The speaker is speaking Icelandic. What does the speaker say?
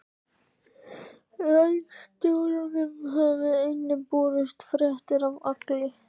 Landstjóranum hafa einnig borist fréttir af Agli